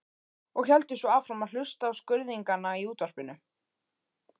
Og héldu svo áfram að hlusta á skruðningana í Útvarpinu.